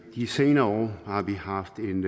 senere år har vi haft et